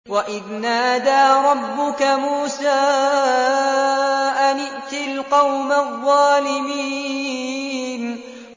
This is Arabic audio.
وَإِذْ نَادَىٰ رَبُّكَ مُوسَىٰ أَنِ ائْتِ الْقَوْمَ الظَّالِمِينَ